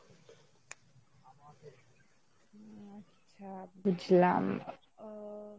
আচ্ছা বুঝলাম আহ